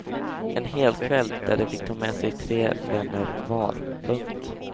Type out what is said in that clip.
En helkväll där de fick ta med sig tre vänner var. punkt